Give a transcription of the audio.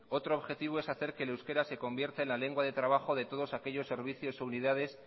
otro objetivo es hacer que el euskera se convierta en la lengua de trabajo de todos aquellos servicios o unidades